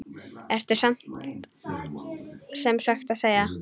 Ertu sem sagt að segja.